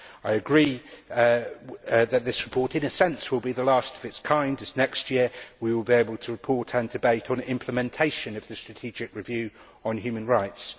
I agree that this report, in a sense, will be the last of its kind, as next year we will be able to report and debate on implementation of the strategic review on human rights.